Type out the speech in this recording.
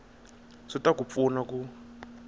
swi ta ku pfuna ku